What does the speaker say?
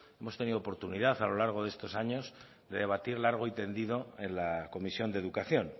hemos tenido oportunidad a lo largo de estos años de debatir largo y tendido en la comisión de educación